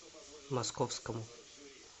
московскому